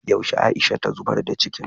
yaushe Aisha ta zubar da cikin